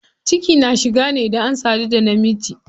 Ciki na shiga ne idan an sadu da na miji.